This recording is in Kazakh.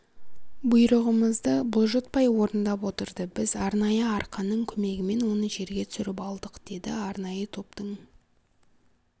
бұйрығымызды бұлжытпай орындап отырды біз арнайы арқанның көмегімен оны жерге түсіріп алдық деді арнайы топтың